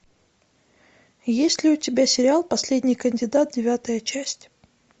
есть ли у тебя сериал последний кандидат девятая часть